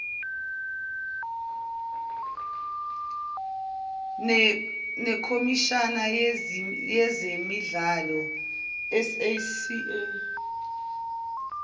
nekhomishani yezemidlalo sasc